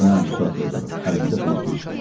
Daya bu saat yazaram, əlimdə özgeş var.